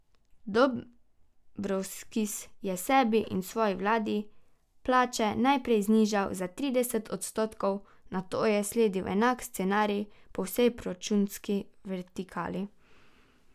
Dombrovskis je sebi in svoji vladi plače najprej znižal za trideset odstotkov, nato je sledil enak scenarij po vsej proračunski vertikali.